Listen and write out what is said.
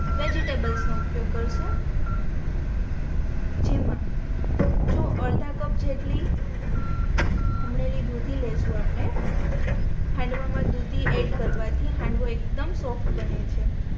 vegetables નો ઉપયોગ કરશું જેમાં જો અર્ધા કપ જેટલી ખમણેલી દૂધી લઈશુ આપણે હાંડવા મા દૂધી એડ કરવા થી હાંડવો એક્દમ સોફ્ટ બને છે